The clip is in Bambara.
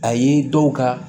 A ye dɔw ka